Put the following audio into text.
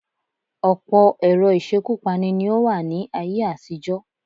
Ọ̀pọ̀ ẹ̀rọ ìṣekúpani ní ó wà ní ayé-àtijọ́.